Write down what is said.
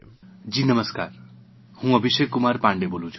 જી નમસ્કાર હું અભિષેકકુમાર પાન્ડે બોલું છું